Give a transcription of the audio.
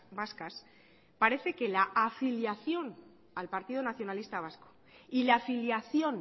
vascas parece que la afiliación al partido nacionalista vasco y la afiliación